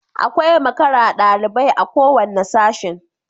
Akwai makara dalibai a kowanne Sashin